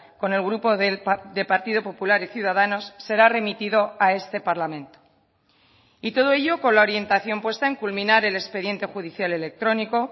con el grupo de partido popular y ciudadanos será remitido a este parlamento y todo ello con la orientación puesta en culminar el expediente judicial electrónico